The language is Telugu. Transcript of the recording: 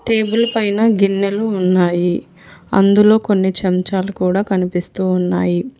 టేబుల్ పైన గిన్నెలు ఉన్నాయి అందులో కొన్ని చెంచాలు కూడ కనిపిస్తూ ఉన్నాయి.